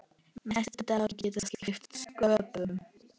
Næstu dagar geta skipt sköpum.